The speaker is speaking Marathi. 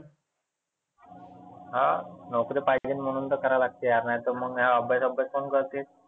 हा नोकरी पाहिजे म्हणुन तर करा लागते यार. नाहितर मग हे अभ्यास गभ्यास कोण करते.